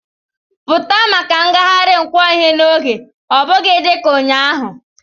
Pụta maka ngagharị nkwo ihe n'oge, ọ bụghị dị ka ụnyaahụ!